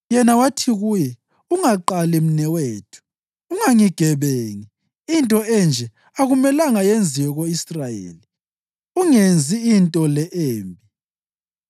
Yena wathi kuye, “Ungaqali, mnewethu! Ungangigebengi. Into enje akumelanga yenziwe ko-Israyeli! Ungenzi into le embi.